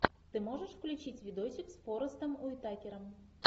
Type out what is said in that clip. ты можешь включить видосик с форестом уитакером